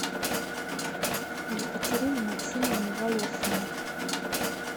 екатерины максимовны волошиной